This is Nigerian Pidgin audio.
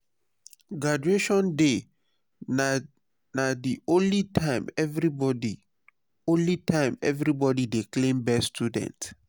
graduation day na the only time everybody only time everybody dey claim best student.